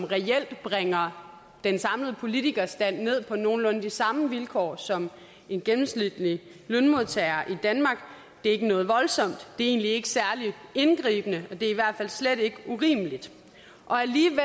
reelt bringer den samlede politikerstand ned på nogenlunde de samme vilkår som en gennemsnitlig lønmodtager i danmark det er ikke noget voldsomt det er egentlig ikke særlig indgribende og det er i hvert fald slet ikke urimeligt alligevel